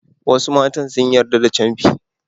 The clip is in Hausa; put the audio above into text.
Wasu matan sun yarda da camfi.